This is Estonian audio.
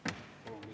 Tänan tähelepanu eest!